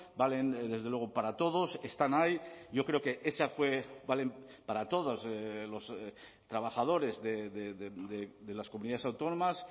valen desde luego para todos están ahí yo creo que esa fue valen para todos los trabajadores de las comunidades autónomas